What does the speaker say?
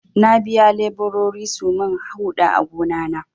Na biya leburori su min huɗa a gona na.